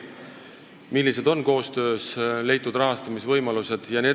Millised on koostöös leitud rahastamisvõimalused?